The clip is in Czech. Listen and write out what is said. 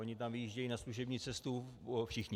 Oni tam vyjíždějí na služební cestu všichni.